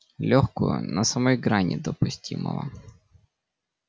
лёгкую на самой грани допустимого